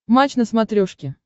матч на смотрешке